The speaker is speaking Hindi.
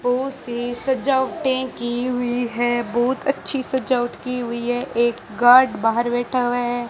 पो से सजावटें की हुई हैं बहुत अच्छी सजावट की हुई है एक गार्ड बाहर बैठा हुआ है।